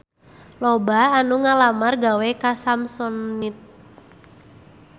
Loba anu ngalamar gawe ka Samsonite